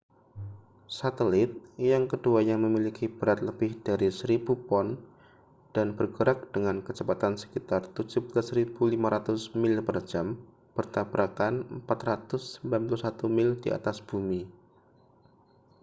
satelit yang keduanya memiliki berat lebih dari 1.000 pon dan bergerak dengan kecepatan sekitar 17.500 mil per jam bertabrakan 491 mil di atas bumi